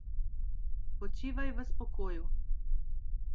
Počivaj v spokoju.